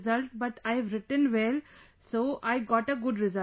result but I have written well so I got a good result